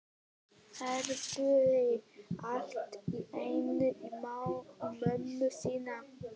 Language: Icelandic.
Heyrði allt í einu í mömmu sinni.